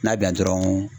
N'a bɛ yan dɔrɔn